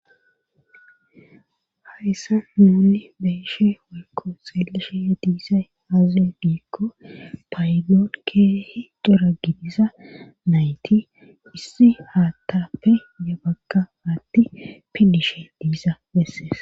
Hayssa mounni beeshe woykko seelishe ya diisay aaze diikko payilon keehi dora gidisa nayti issi haatappe ye bagka atti pillishe diisa bessees.